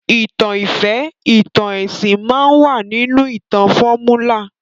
ìtàn ìfẹ́, ìtàn ẹsìn máa wà nínú ìtàn fọ́múlà